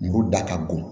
Muru da ka bon